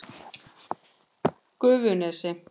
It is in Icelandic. Gufunesi